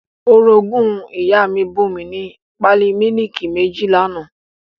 Orogún ìyá mi bùn mi ní pálí mílìkì méjì l'àná